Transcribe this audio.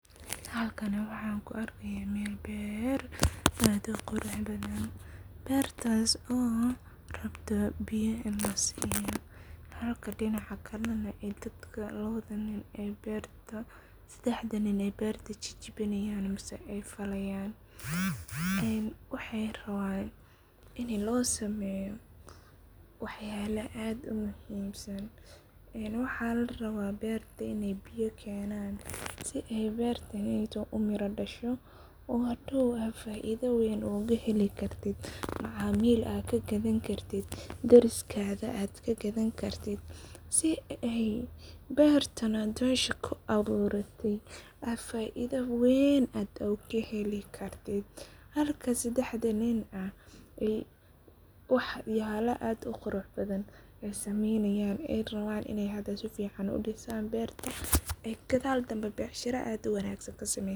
Halkani waxan kuarkaya mel beer aad uquruxbadhan, bertas oo rabto biyo ini lasiyo halka dinaca kalenah sedaxda nin ay berta jajabinayan mise aay fajayan, waxay raban ini losameyo waxyalo aad umuhimsan, een waxa laraba berta inay biyo kenan sii ay bertaney umira dasho oo hadow faida weyn oga heli kartit, macamil aad kagadani kartit, deriskaga aad kagadani kartit, sii aad berta aad mesha kuaburate aad faido weyn aad ogahelikartit, halka sedaxda nin ah waxyabo aad uquraxbadhan aay sameynayan aay raban hada inay sifican udisan berta oo gadal dambe becshira aad uwagsan kasameyan.